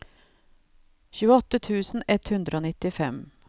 tjueåtte tusen ett hundre og nittifem